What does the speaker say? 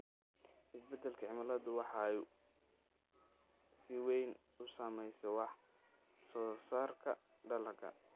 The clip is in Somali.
Isbeddelka cimiladu waxay si weyn u saamaysaa wax-soo-saarka dalagga.